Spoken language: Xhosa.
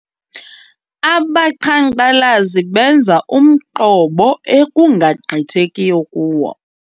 Abaqhankqalazi benze umqobo ekungagqithekiyo kuwo.